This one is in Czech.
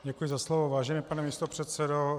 Děkuji za slovo, vážený pane místopředsedo.